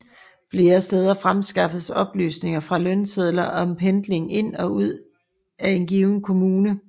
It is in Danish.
Flere steder fremskaffedes oplysninger fra lønsedler om pendling ind og ud af en given kommune